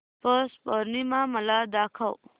पौष पौर्णिमा मला दाखव